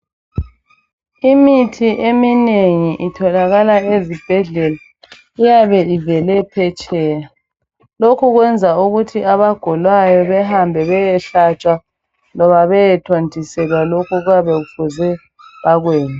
Imithi eminengi itholakala ezibhedlela iyabe ivele phetsheya lokho kuyenza ukuthi abagulayo behambe beyehlatshwa loba beyethontiselwa lokho abayabe befuze bakwenze.